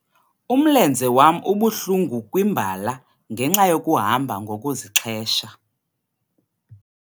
Umlenze wam ubuhlungu kwimbala ngenxa yokuhamba ngokuzixhesha.